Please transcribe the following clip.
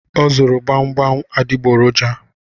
O zụrụ gbamgbam adịgboroja